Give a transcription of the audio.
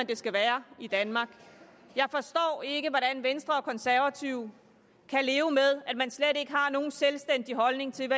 det skal være i danmark jeg forstår ikke hvordan venstre og konservative kan leve med at man slet ikke har nogen selvstændig holdning til